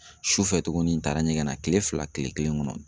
Sufɛ tugunni n taara ɲɛgɛn na kile fila kile kelen kɔnɔ.